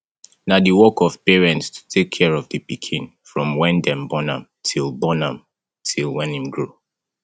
na di work of parents to take care of di pikin from when dem born am till born am till when im grow